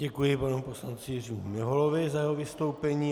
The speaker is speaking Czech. Děkuji panu poslanci Jiřímu Miholovi za jeho vystoupení.